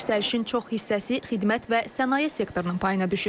Yüksəlişin çox hissəsi xidmət və sənaye sektorunun payına düşür.